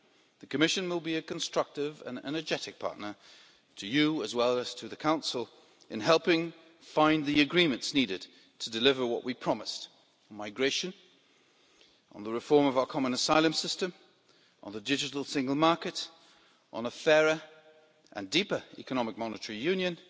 The Commission will be a constructive and energetic partner to you, as well as to the Council, in helping find the agreements needed to deliver what we promised on migration, on the reform of our common asylum system, on the digital single market, on a fairer and deeper economic monetary union,